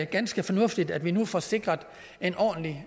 ganske fornuftigt at vi nu får sikret en ordentlig